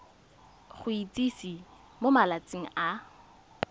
go itsise mo malatsing a